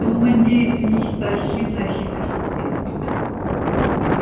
ум индейца неистощим на хитрости